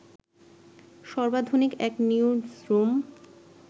সর্বাধুনিক এক নিউজরুম